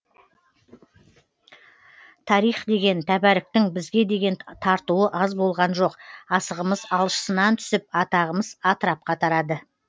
тарих деген тәбәріктің бізге деген тартуы аз болған жоқ асығымыз алшысынан түсіп атағымыз атырапқа тарады